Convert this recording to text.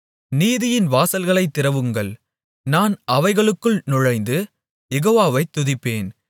நீதியின் வாசல்களைத் திறவுங்கள் நான் அவைகளுக்குள் நுழைந்து யெகோவாவை துதிப்பேன்